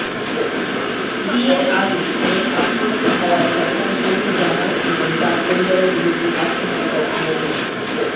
বিয়ের আগেই মেয়ের আত্মঘাতী হওয়ার ঘটনায় হবু জামাই এবং তাঁর পরিবারের বিরুদ্ধে আত্মহত্যায় প্ররোচনার